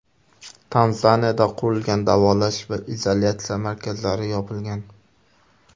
Tanzaniyada qurilgan davolash va izolyatsiya markazlari yopilgan.